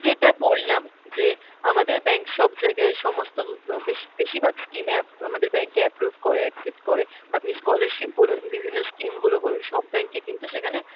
যেটা বললাম যে আমাদের bank সব জায়গায় সমস্ত ব~ বেশ~ বেশিরভাগ scheme এ অ্যাপ আমাদের bank এ approve করে accept করে, আপনি scholarship বলুন বিভিন্ন scheme গুলো বলুন সব bank এ কিন্তু সেখানে,